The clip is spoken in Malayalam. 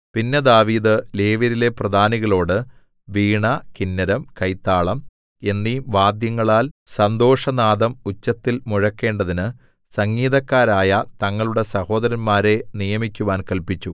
പിന്നെ ദാവീദ് ലേവ്യരിലെ പ്രധാനികളോടു വീണ കിന്നരം കൈത്താളം എന്നീ വാദ്യങ്ങളാൽ സന്തോഷനാദം ഉച്ചത്തിൽ മുഴക്കേണ്ടതിന് സംഗീതക്കാരായ തങ്ങളുടെ സഹോദരന്മാരെ നിയമിക്കുവാൻ കല്പിച്ചു